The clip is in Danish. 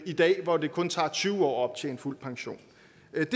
i dag hvor det kun tager tyve år at optjene fuld pension